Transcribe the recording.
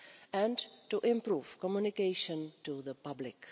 and to improve communication to the public.